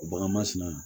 Bagan ma sina